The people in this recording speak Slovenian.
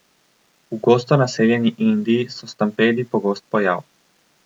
V gosto naseljeni Indiji so stampedi pogost pojav.